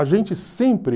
A gente sempre...